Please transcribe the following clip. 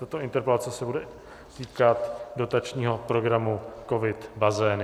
Tato interpelace se bude týkat dotačního programu COVID - Bazény.